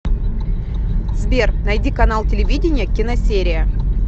сбер найди канал телевидения киносерия